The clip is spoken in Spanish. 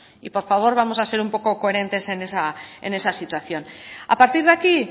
y por favor vamos a ser un poco coherentes en esa situación a partir de aquí